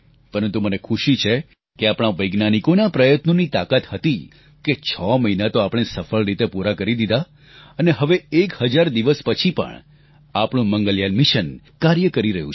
પરંતુ મને ખુશી છે કે આપણા વૈજ્ઞાનિકોના પ્રયત્નોની તાકાત હતી કે છ મહિના તો સફળ રીતે પૂરા કરી દીધા અને હવે એક હજાર દિવસ પછી પણ આપણું મંગલયાન મિશન કાર્ય કરી રહ્યું છે